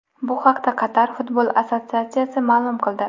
Bu haqda Qatar futbol assotsiatsiyasi ma’lum qildi .